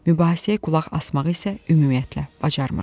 Mübahisəyə qulaq asmağı isə ümumiyyətlə bacarmıram.